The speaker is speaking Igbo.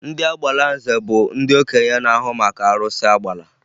Ndị Agbalanze bụ ndị okenye na-ahụ maka arụsị Agbala